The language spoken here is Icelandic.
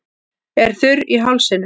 Er þurr í hálsinum.